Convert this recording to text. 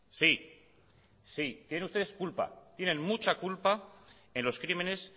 sí sí tienen ustedes culpa tienen mucha culpa en los crímenes